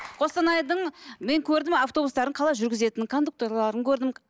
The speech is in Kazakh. қостанайдың мен көрдім автобустарын қалай жүргізетінін кондукторларын көрдім